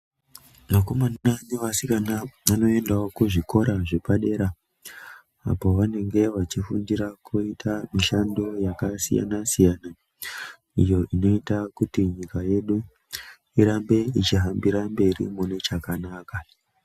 Vakomana nevasikana vanoendawo kuzvikora zvepadere apa pavanenge vachifundira kuita mishando yakasiyana siyana iyo inoita kuti nyika yedu irambe ichihambira mberi munechakanaka.